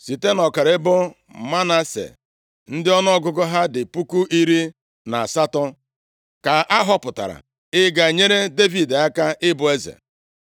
Site nʼọkara ebo Manase, ndị ọnụọgụgụ ha dị puku iri na asatọ (18,000) ka a họpụtara ịga inyere Devid aka ịbụ eze.